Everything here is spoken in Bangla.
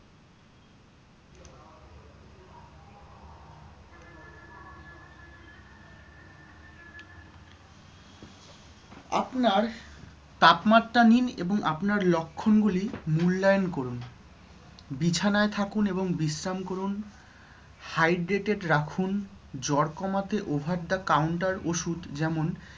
আপনার তাপমাত্রা নিন এবং আপনার লক্ষণগুলি মূল্যায়ন করুন। বিছানায় থাকুন এবং বিশ্রাম করুন। hydrated রাখুন। জ্বর কমাতে over the counter ওষুধ যেমন